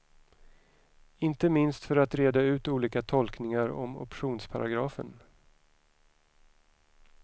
Inte minst för att reda ut olika tolkningar om optionsparagrafen.